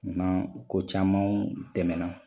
Nan ko camanw tɛmɛna